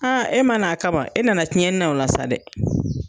Aa e ma na a kama , e nana tiɲɛni na o la sa dɛ!